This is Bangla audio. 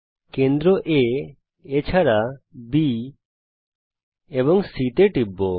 আমি কেন্দ্র aবি এবং C এর উপর টিপব